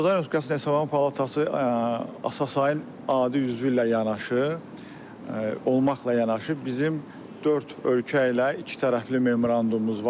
Azərbaycan Respublikasının Hesablama Palatası ASAI-in adi üzvü ilə yanaşı olmaqla yanaşı bizim dörd ölkə ilə ikitərəfli memorandumumuz var.